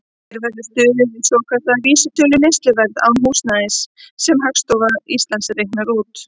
Hér verður stuðst við svokallaða vísitölu neysluverðs án húsnæðis, sem Hagstofa Íslands reiknar út.